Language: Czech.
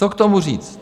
Co k tomu říct?